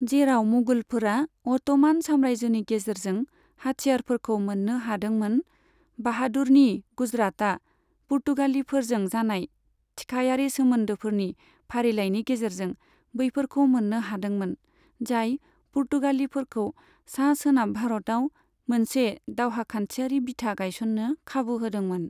जेराव मुगलफोरा अट'मान साम्रायजोनि गेजेरजों हाथियारफोरखौ मोन्नो हादोंमोन, बहादुरनि गुजरातआ पुर्तगालिफोरजों जानाय थिखायारि सोमोन्दोफोरनि फारिलायनि गेजेरजों बैफोरखौ मोन्नो हादोंमोन, जाय पुर्तगालिफोरखौ सा सोनाब भारतआव मोनसे दावहाखान्थियारि बिथा गायस'न्नो खाबु होदोंमोन।